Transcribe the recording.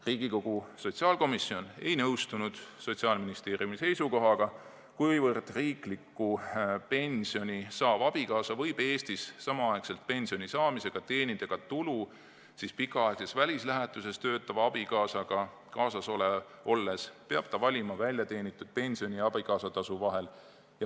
Riigikogu sotsiaalkomisjon ei nõustunud Sotsiaalministeeriumi seisukohaga, kuna riiklikku pensioni saav abikaasa võib Eestis samaaegselt pensioni saamisega ka tulu teenida, pikaaegses välislähetuses töötava abikaasaga kaasas olles peab ta valima väljateenitud pensioni ja abikaasatasu vahel.